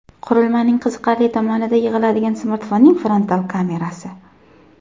Qurilmaning qiziqarli tomonida yig‘iladigan smartfonning frontal kamerasi.